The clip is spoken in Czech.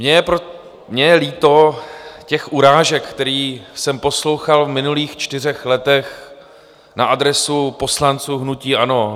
Mně je líto těch urážek, které jsem poslouchal v minulých čtyřech letech na adresu poslanců hnutí ANO.